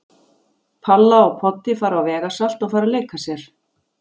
Palla og Poddi fara á vegasalt og fara að leika sér.